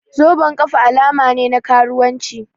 Zoben ƙafa alama ne na karuwanci